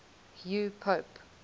hugh pope